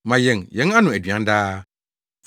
Ma yɛn yɛn ano aduan daa.